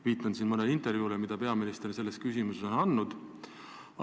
Viitan siin mõnele intervjuule, mille peaminister on selles küsimuses andnud.